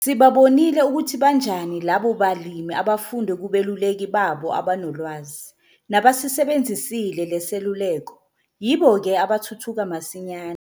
Sibabonile ukuthi banjani labo balimi abafunde kubeluleki babo abanolwazi - nabasisibenzisile le seluleko - yibo ke abathuthuka masinyane.